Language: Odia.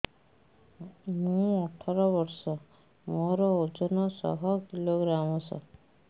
ମୁଁ ଅଠର ବର୍ଷ ମୋର ଓଜନ ଶହ କିଲୋଗ୍ରାମସ